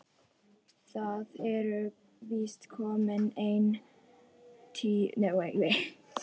Það eru víst komin ein tíu ár síðan.